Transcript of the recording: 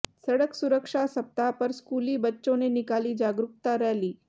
सड़क सुरक्षा सप्ताह पर स्कूली बच्चों ने निकाली जागरूकता रैली